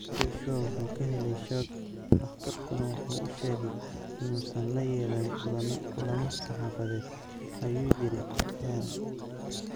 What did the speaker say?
"Joshua wuxuu ka helay shoog, dhakhtarkuna wuxuu u sheegay inuusan la yeelan kulamo saxaafadeed," ayuu yiri Hearn.